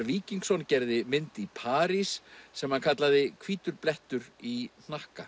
Víkingsson gerði mynd í París sem hann kallaði hvítur blettur í hnakka